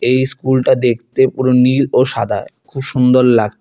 এই স্কুল -টা দেখতে পুরো নীল ও সাদা খুব সুন্দর লাগ--